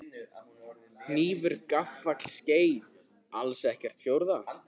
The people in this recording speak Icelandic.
Hnífur gaffall skeið alls ekkert fjórða?